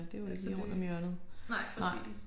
Så det nej præcis